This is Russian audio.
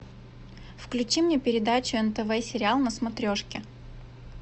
включи мне передачу нтв сериал на смотрешке